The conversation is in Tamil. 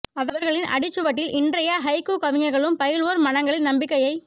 அவர்களின் அடிச்சுவட்டில் இன்றைய ஹைக்கூ கவிஞர்களும் பயில்வோர் மனங்களில் நம்பிக்கையை